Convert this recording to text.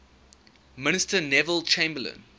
minister neville chamberlain